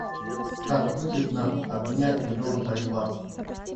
как выгодно обменять миллион боливар